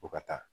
Ko ka taa